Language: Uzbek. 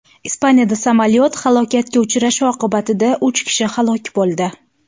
Ispaniyada samolyot halokatga uchrashi oqibatida uch kishi halok bo‘ldi.